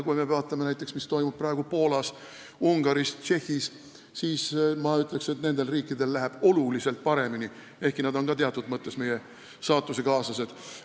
Kui me vaatame näiteks, mis toimub praegu Poolas, Ungaris, Tšehhis, siis ma ütleksin, et nendel riikidel läheb oluliselt paremini, ehkki nad on ka teatud mõttes meie saatusekaaslased.